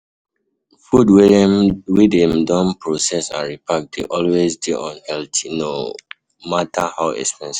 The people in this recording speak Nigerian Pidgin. Food wey dem don process and repark dey always dey unhealthy no um matter how expensive